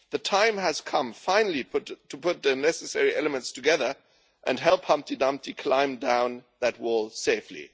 The time has come finally to put the necessary elements together and help Humpty Dumpty climb down that wall safely.